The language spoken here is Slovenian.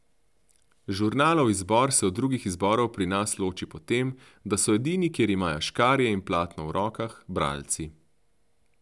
Žurnalov izbor se od drugih izborov pri nas loči po tem, da so edini, kjer imajo škarje in platno v rokah, bralci.